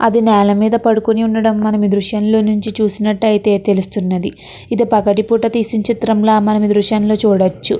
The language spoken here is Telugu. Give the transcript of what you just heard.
అది నేల మీద పడుకుని ఉండడం మన దృశ్యంలో నుంచి చూసినట్టయితే తెలుస్తుంది. ఇది పగటిపూట తీసి చిత్రం లా మనము దృశ్యంలో చూడొచ్చు.